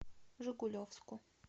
жигулевску